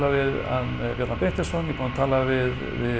við hann Bjarna Benediktsson ég er búinn að tala við